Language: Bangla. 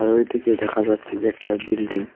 ওই দিকে দেখা যাচ্ছে যে একটা বিল্ডিং ।